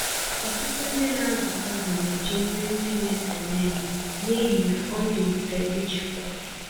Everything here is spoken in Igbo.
Ọtụtụ ndị nazụ azụ neji nri ndị na-ese n'elu, n'ihi na ọndị mfe ijikwa.